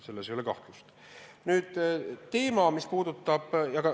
Selles ei ole kahtlust.